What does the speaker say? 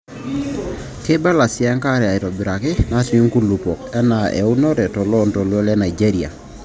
Keibalans siienkare aaitobiraki naatii nkulupuok anaa eunore toloontoluo le Nigeria.